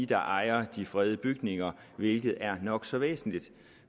der ejer de fredede bygninger hvilket er nok så væsentligt